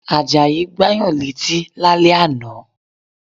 Àjàyí Gbáyàn létí lálẹ́ ànà